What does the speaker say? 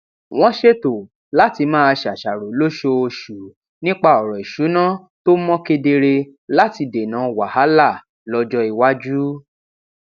wọn ṣètò láti máa ṣàṣàrò lóṣooṣù nípa ọrọ ìṣúná tó mọ kedere láti dènà wàhálà lọjọ iwájú